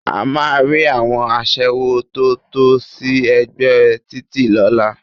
A máa rí àwọn aṣẹ́wó tó tò sí ẹ̀gbẹ́ títì lọ́la